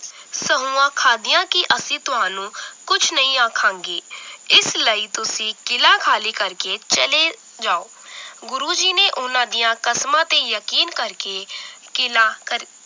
ਸੌਹਾਂ ਖਾਦੀਆਂ ਕਿ ਅਸੀ ਤੁਹਾਨੂੰ ਕੁਛ ਨਈ ਆਖਾਂਗੇ ਇਸ ਲਈ ਤੁਸੀ ਕਿਲਾ ਖਾਲੀ ਕਰਕੇ ਚਲੇ ਜਾਓ L ਗੁਰੂ ਜੀ ਨੇ ਉਹਨਾਂ ਦੀਆਂ ਕਸਮਾਂ ਤੇ ਯਕੀਨ ਕਰਕੇ ਕਿਲਾ ਕਰ